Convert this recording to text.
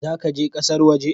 Za ka je ƙasar waje?